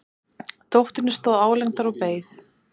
Dóttirin stóð álengdar og beið.